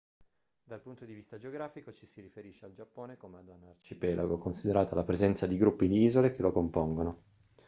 dal punto di vista geografico ci si riferisce al giappone come ad un arcipelago considerata la presenza di gruppi di isole che lo compongono